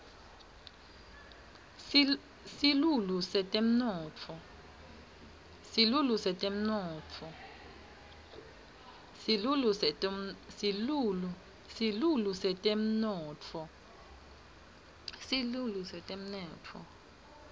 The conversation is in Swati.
silulu setemnotfo